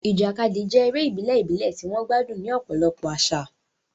Ìjàkadì jẹ́ eré ìbílẹ̀ ìbílẹ̀ tí wọ́n gbádùn ní ọ̀pọ̀lọpọ̀ àṣà.